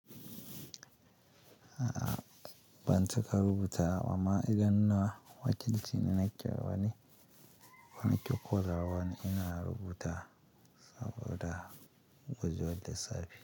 A'a ban cika rubuta ba, amma idan na wakilci na na ƙira wani wani kokorawan ina rubuta saboda gwiwar da safe.